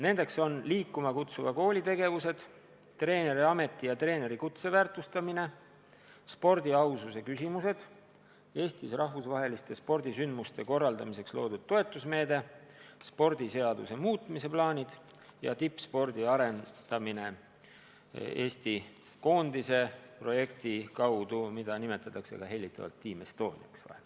Need on tegevused "Liikuma kutsuva kooli" programmi raames, treeneriameti ja treenerikutse väärtustamine, spordi aususe küsimused, Eestis rahvusvaheliste spordisündmuste korraldamiseks loodud toetusmeede, spordiseaduse muutmise plaanid ja tippspordi arendamine Eesti koondise projekti kaudu, mida nimetatakse hellitavalt Team Estoniaks.